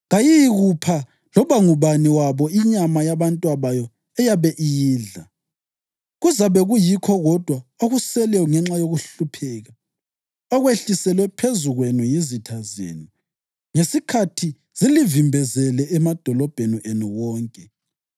kayiyikupha loba ngubani wabo inyama yabantwabayo eyabe iyidla. Kuzabe kuyikho kodwa okuseleyo ngenxa yokuhlupheka okwehliselwe phezu kwenu yizitha zenu ngesikhathi zilivimbezele emadolobheni enu wonke.